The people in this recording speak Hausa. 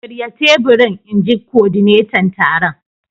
Shirya teburin! In ji kodinetan taron.